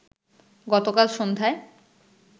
গতকাল সন্ধ্যায়